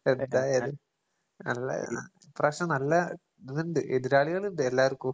എന്തായാലും നല്ല ഇപ്പ്രാവശ്യം നല്ല ഇത്ണ്ട് എതിരാളികളിണ്ട് എല്ലാർക്കും.